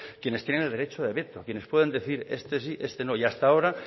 quienes tienen el derecho de veto quienes pueden decir este sí este no y hasta ahora